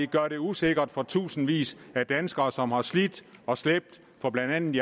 gør det usikkert for tusindvis af danskere som har slidt og slæbt for blandt andet